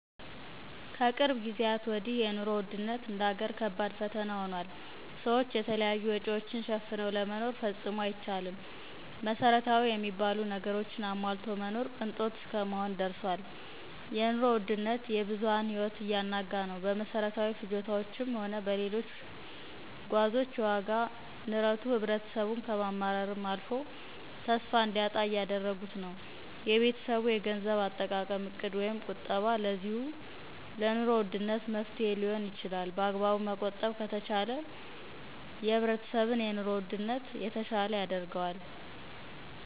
ከቅርብ ጊዜየት ወዲህ የኑሮ ውድነት እንደ አገር ከባድ ፈተና ሁኗል። ሰዎች የተለያዩ ወጭዎችን ሸፍነው ለመኖር ፈጽሞ አይቻልም። መሰረታዊ የሚባሉ ነገሮችን አሟልቶ መኖር ቅንጦት እስከመሆን ደርሷል። የኑሮ ውድነት የብዙሃን ህይወት እያናጋ ነው። በመሠረታዊ ፍጆታዎችም ሆነ በሌሎች ጓዞች የወጋ ንረቱ ህብረተሰቡን ከማማረርም አልፎ ተስፋ እንዲያጣ እያደረጉት ነው። የቤተሰብ የገንዘብ አጠቃቀም ዕቅድ ወይም ቁጠባ ለዚሁ ለኑሮ ውድነት መፍትሔ ሊሆን ይችላል በአግባቡ መቆጠብ ከተቻለ የህብረተሰብን የኑሮ ውድነት የተሸለ ያደርገዋል